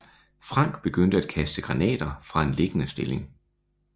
Frank begyndte at kaste granater fra en liggende stilling